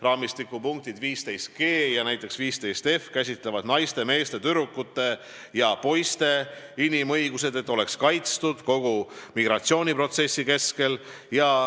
Raamistiku punkt 15 käsitleb naiste, meeste, tüdrukute ja poiste inimõigusi, et nad oleks kaitstud kogu migratsiooniprotsessi kestel.